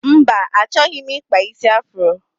Mba, achọghị m ịkpa isi afuro.